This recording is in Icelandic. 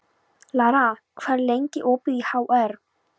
Lara, hvað er lengi opið í HR?